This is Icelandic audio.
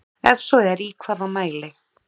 Ef svo er í hvaða mæli?